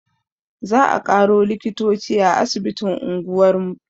Za a ƙaro likitoci a asibitin unguwar mu